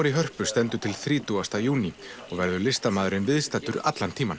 í Hörpu stendur til þrítugasta júní og verður listamaðurinn viðstaddur allan tímann